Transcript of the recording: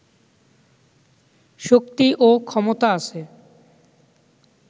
শক্তি ও ক্ষমতা আছে।